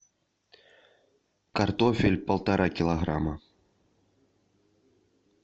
картофель полтора килограмма